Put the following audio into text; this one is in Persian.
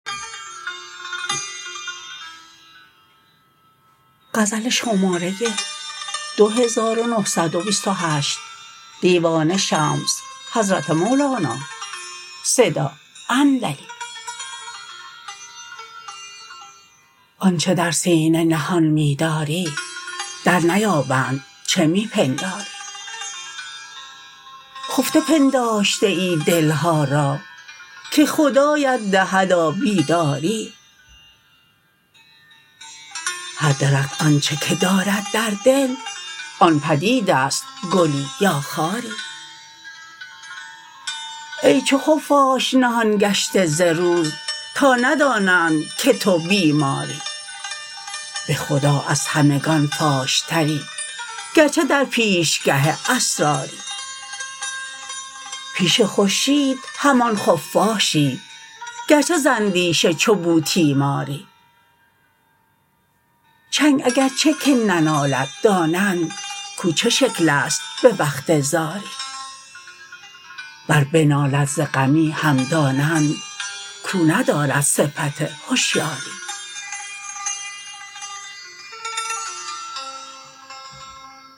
آنچ در سینه نهان می داری درنیابند چه می پنداری خفته پنداشته ای دل ها را که خدایت دهدا بیداری هر درخت آنچ که دارد در دل آن بدیده ست گلی یا خاری ای چو خفاش نهان گشته ز روز تا ندانند که تو بیماری به خدا از همگان فاشتری گرچه در پیشگه اسراری پیش خورشید همان خفاشی گرچه ز اندیشه چو بوتیماری چنگ اگرچه که ننالد دانند کو چه شکل است به وقت زاری ور بنالد ز غمی هم دانند کو ندارد صفت هشیاری